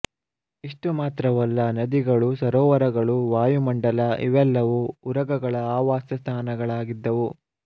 ಇಷ್ಟು ಮಾತ್ರವಲ್ಲ ನದಿಗಳು ಸರೋವರಗಳು ವಾಯುಮಂಡಲ ಇವೆಲ್ಲವೂ ಉರಗಗಳ ಆವಾಸ ಸ್ಥಾನಗಳಾಗಿದ್ದವು